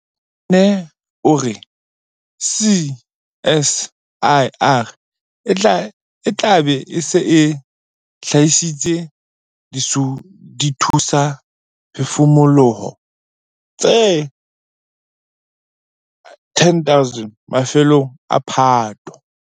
Sanne o re CSIR e tla be e se e hlahisitse dithusaphefumoloho tse 10 000 mafelong a Phato.